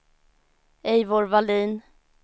Eivor Vallin